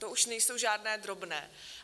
To už nejsou žádné drobné.